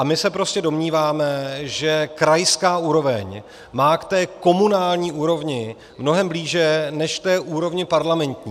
A my se prostě domníváme, že krajská úroveň má k té komunální úrovni mnohem blíže než k úrovni parlamentní.